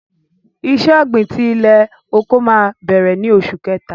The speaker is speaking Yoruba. Ìṣẹ̀ ògbin tí ilẹ̀-oko mà bẹ̀rẹ̀ ní Ọṣù Kẹ̀tà.